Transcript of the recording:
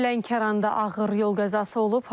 Lənkəranda ağır yol qəzası olub.